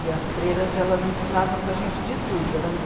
E as freiras, elas ensinavam para gente de tudo.